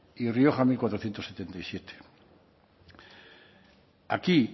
y rioja mil cuatrocientos setenta y siete aquí